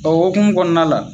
O okumu kɔnɔna la